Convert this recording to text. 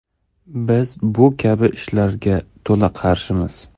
Biz bu kabi ishlarga to‘la qarshimiz.